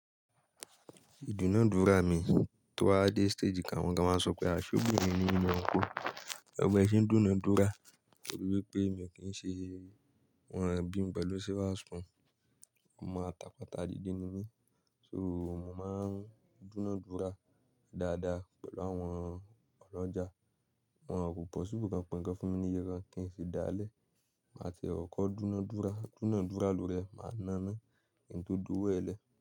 Ìdúnadúrà mi tó wá dé stage kan, àwọn gan máa ń sọ pé ṣọ́bìnrin niyin ni uncle? E wo bẹ̀ẹ́ ṣe ń dúnadúrà torí wípé èmi kì í ṣe won bimi pelu silver spoon. Ọmọ atàpátá dìde ni mí, so mò máa ń dúnadúrà dáadáa pẹ̀lú àwọn ọlọ́jà. Wọn kò possible kan pe ǹkan fún mi níye kan kì í sì dáálẹ̀. Màá ti e kọ̀kọ́ dúnadúrà, dúnadúrà lóori e máa na kí n tó dowo ẹ̀ lẹ̀